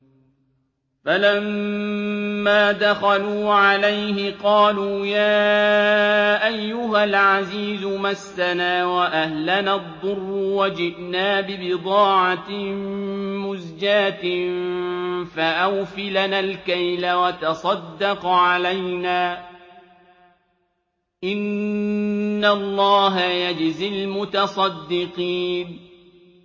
فَلَمَّا دَخَلُوا عَلَيْهِ قَالُوا يَا أَيُّهَا الْعَزِيزُ مَسَّنَا وَأَهْلَنَا الضُّرُّ وَجِئْنَا بِبِضَاعَةٍ مُّزْجَاةٍ فَأَوْفِ لَنَا الْكَيْلَ وَتَصَدَّقْ عَلَيْنَا ۖ إِنَّ اللَّهَ يَجْزِي الْمُتَصَدِّقِينَ